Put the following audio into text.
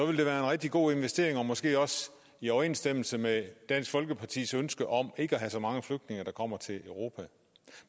en rigtig god investering og måske også i overensstemmelse med dansk folkepartis ønske om ikke at have så mange flygtninge der kommer til europa